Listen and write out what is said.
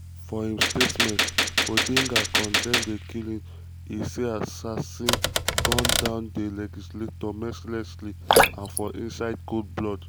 for im statement odinga condemn di killing e say assassin gun down di legislator "mercilessly and for inside cold blood".